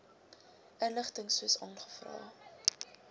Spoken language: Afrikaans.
inligting soos aangevra